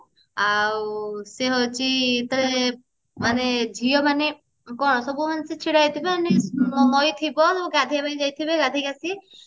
ଆଉ ସେ ହଉଛି ତ ମାନେ ଝିଅ ମାନେ କଣ ସବୁ ମାନେ ସିଏ ଛିଡା ହେଇଥିବେ ମାନେ ନଇ ଥିବ ସବୁ ଗାଧେଇବା ପାଇଁ ଯାଇଥିବେ ଗାଧେଇକି ଆସିକି